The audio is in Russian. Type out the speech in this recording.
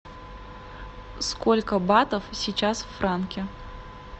сколько батов сейчас в франке